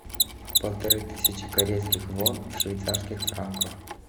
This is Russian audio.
полторы тысячи корейских вон в швейцарских франках